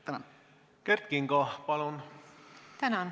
Tänan!